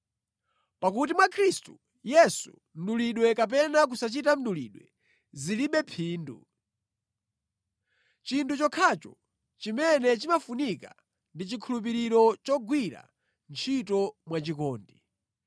Pakuti mwa Khristu Yesu mdulidwe kapena kusachita mdulidwe zilibe phindu. Chinthu chokhacho chimene chimafunika ndi chikhulupiriro chogwira ntchito mwachikondi.